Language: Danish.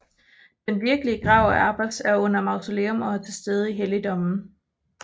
Den virkelige grav af Abbas er under mausoleum og er til stede i helligdommen